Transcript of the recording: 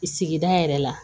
Sigida yɛrɛ la